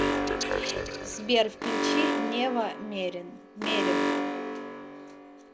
сбер включи нева мерим